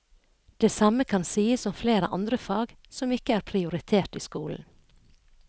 Det samme kan sies om flere andre fag som ikke er prioritert i skolen.